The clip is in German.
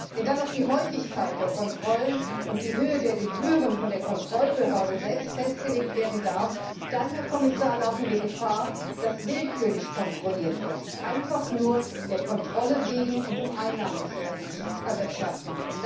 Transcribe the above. Wenn dann noch die Häufigkeit der Kontrollen und die Höhe der Gebühren von der Kontrollbehörde selbst festgelegt werden dürfen, dann, Herr Kommissar, laufen wir Gefahr, dass willkürlich kontrolliert wird, einfach nur der Kontrolle wegen und um Einnahmen zu erwirtschaften.